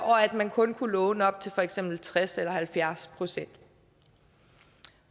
og at man kun kunne låne op til for eksempel tres eller halvfjerds procent